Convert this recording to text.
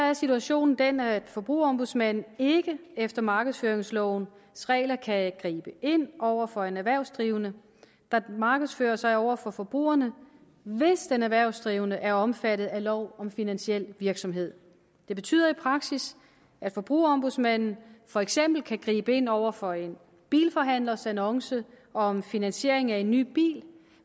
er situationen den at forbrugerombudsmanden ikke efter markedsføringslovens regler kan gribe ind over for en erhvervsdrivende der markedsfører sig over for forbrugerne hvis den erhvervsdrivende er omfattet af lov om finansiel virksomhed det betyder i praksis at forbrugerombudsmanden for eksempel kan gribe ind over for en bilforhandlers annonce om finansiering af en ny bil